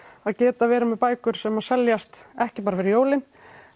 að geta verið með bækur sem seljast ekki bara fyrir jólin